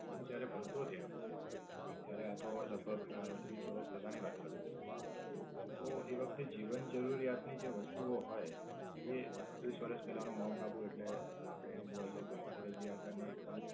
હું જયારે ભણતો ત્યાં, ત્યારે આ તો લગભગ અમ ત્રીસ વરસ પેલા ની વાત કરું છું. તો એ વખતે જીવન જરૂરિયાત ની જે વસ્તુ ઓ હોય એ ત્રીસ વરસ પેલા નું માઉન્ટ આબુ એટલે આપડે એમ જોવા જઇયે તો અત્યારે જે આપણ ને એકદમ